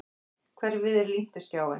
Hverfið er límt við skjáinn.